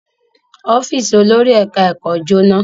Ọ́fíísì olórí ẹ̀ka-ẹ̀kọ́ jóná.